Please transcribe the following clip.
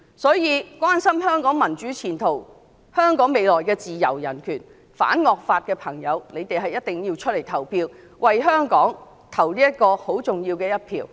所以，關心香港民主前途、香港未來的自由人權、反惡法的選民一定要出來投票，為香港投下重要的一票。